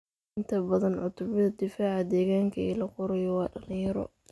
Inta badan cutubyada difaaca deegaanka ee la qorayo waa dhalinyaro.